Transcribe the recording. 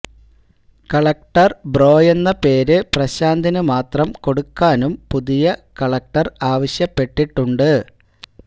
collector ബ്രോയെന്ന പേര് പ്രശാന്തിന് മാത്രം കൊടുക്കാനും പുതിയ കലക്ടർ ആവശ്യപ്പെട്ടിട്ടുണ്ട്